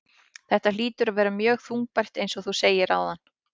Þetta hlýtur að vera mjög þungbært eins og þú segir áðan?